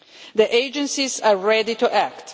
The agencies are ready to